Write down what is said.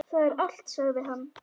Það er allt, sagði hann.